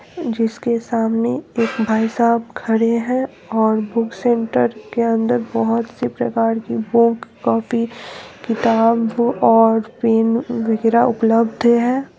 जिसके सामने एक भाई साब खड़े है और बुक सेंटर के अंदर बहुत सी प्रकार की बुक कॉपी किताब और पेन वैगरह उपलब्ध है।